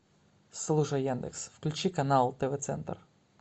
слушай яндекс включи канал тв центр